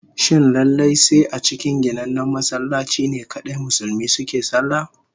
Shin sai lallai a cikin ginannen masallaci ne kadai Musulmi suke sallah?